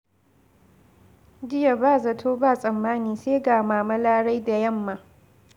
Jiya ba zato ba tsammani sai ga Mama Larai da yamma.